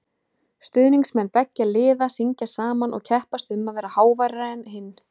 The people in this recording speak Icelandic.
Stuðningsmenn beggja liða syngja saman og keppast um að vera háværari en hinn.